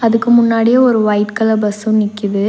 இதுக்கு முன்னாடி ஒரு ஒயிட் கலர் பஸ்ஸு நிக்குது.